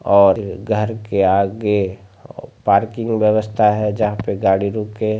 और घर के आगे पार्किंग व्यवस्था है जहाँ पे गाड़ी रुक के ----